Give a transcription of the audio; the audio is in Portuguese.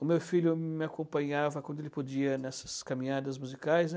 O meu filho me acompanhava quando ele podia nessas caminhadas musicais, né.